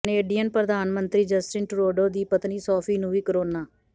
Canadian ਪ੍ਰਧਾਨ ਮੰਤਰੀ Justin Trudeau ਦੀ ਪਤਨੀ ਸੋਫੀ ਨੂੰ ਵੀ ਕੋਰੋਨਾ